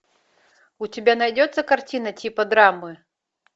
у тебя найдется картина типа драмы